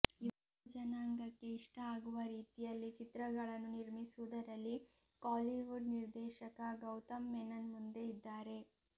ಯುವ ಜನಾಂಗಕ್ಕೆ ಇಷ್ಟ ಆಗುವ ರೀತಿಯಲ್ಲಿ ಚಿತ್ರಗಳನ್ನು ನಿರ್ಮಿಸುವುದರಲ್ಲಿ ಕಾಲಿವುಡ್ ನಿರ್ದೇಶಕ ಗೌತಂ ಮೆನನ್ ಮುಂದೆ ಇದ್ದಾರೆ